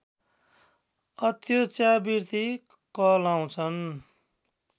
अत्योच्चावृत्ति कहलाउँछन्